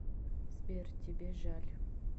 сбер тебе жаль